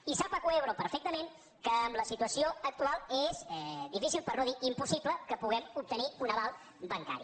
i sap acuaebro perfectament que en la situació actual és difícil per no dir impossible que puguem obtenir un aval bancari